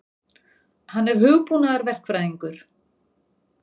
Hann er hugbúnaðarverkfræðingur.